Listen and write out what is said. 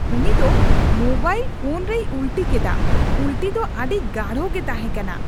ᱩᱱᱤ ᱫᱚ mobile phone ᱨᱮᱭ ᱩᱞᱴᱤ ᱠᱮᱫᱟ ᱾ ᱩᱞᱴᱤ ᱫᱚ ᱟᱹᱰᱤ ᱜᱟᱲᱚ ᱜᱮ ᱛᱟᱦᱮᱠᱟᱱᱟ ᱾